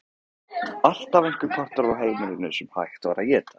Alltaf einhver partur af heimilinu sem hægt var að éta.